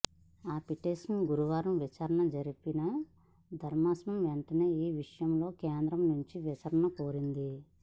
ఆ పిటిషన్పై గురువారం విచారణ జరిపిన ధర్మాసనం వెంటనే ఈ విషయంలో కేంద్రం నుంచి వివరణ కోరింది